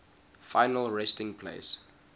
final resting place